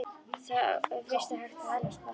Þá fyrst er hægt að öðlast bata.